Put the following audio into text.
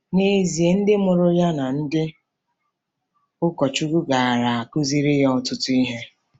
N'ezie, ndị mụrụ ya na ndị ụkọchukwu gaara akụziri ya ọtụtụ ihe.